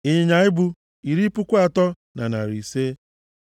ịnyịnya ibu, iri puku atọ na narị ise (30,500),